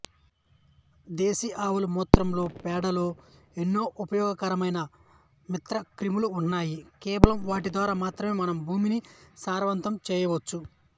దేశీ ఆవుల మూత్రంలో పేడలో ఎన్నో ఉపయోగకరమైన మిత్రక్రిములున్నాయి కేవలం వాటి ద్వారా మాత్రమే మనం భూమిని సారవంతం చేయవచ్చు